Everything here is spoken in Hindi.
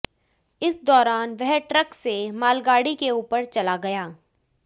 इस दौरान वह ट्रक से मालगाड़ी के ऊपर चला गया